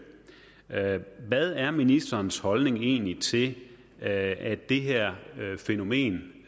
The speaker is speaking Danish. hvad er ministerens holdning egentlig til at det her fænomen